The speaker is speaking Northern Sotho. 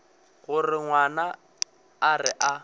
gore ngwana a re a